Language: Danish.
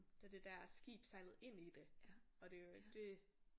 Da det der skib sejlede ind i det og det jo et det